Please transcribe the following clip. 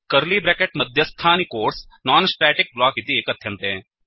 curly bracket मध्यस्थानि codes non static block इति कथ्यन्ते